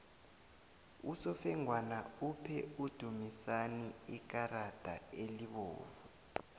usofengwana uphe udumisani ikarada elibovu